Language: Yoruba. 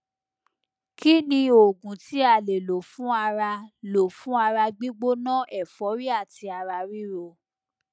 kí ni oògùn tí a lè lò fún ara lò fún ara gbigbona ẹforí àti ara ríro